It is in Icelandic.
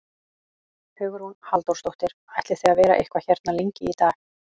Hugrún Halldórsdóttir: Ætlið þið að vera eitthvað hérna lengi í dag?